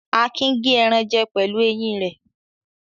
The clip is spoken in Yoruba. Akin gé ẹran jẹ pẹ̀lú eyín rẹ̀.